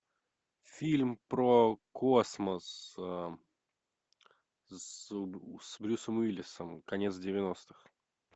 фильм про космос с брюсом уиллисом конец девяностых